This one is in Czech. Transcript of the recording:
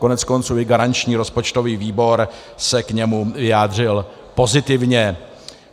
Koneckonců i garanční rozpočtový výbor se k němu vyjádřil pozitivně.